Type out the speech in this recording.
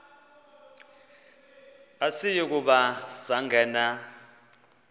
asiyi kuba sangena